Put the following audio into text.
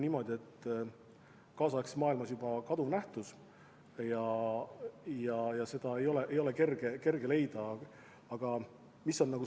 See on kaasaegses maailmas juba kaduv nähtus ja selliseid töötajaid ei ole kerge leida.